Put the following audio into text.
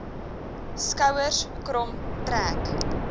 skouers krom trek